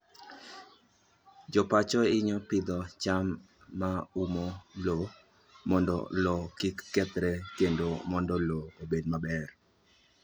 Jo pacho hinyo pidho cham ma umo lowo mondo lowo kik kethre kendo mondo lowo obed maber.